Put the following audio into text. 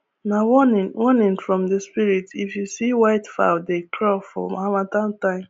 nah warning warning from the spirit if you see white fowl dey crow for harmattan time